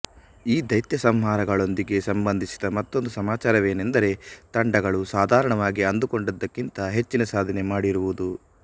ಈ ದೈತ್ಯಸಂಹಾರಗಳೊಂದಿಗೆ ಸಂಬಂಧಿಸಿದ ಮತ್ತೊಂದು ಸಮಾಚಾರವೇನೆಂದರೆ ತಂಡಗಳು ಸಾಧಾರಣವಾಗಿ ಅಂದುಕೊಂಡಿದ್ದಕ್ಕಿಂತ ಹೆಚ್ಚಿನ ಸಾಧನೆ ಮಾಡಿರುವುದು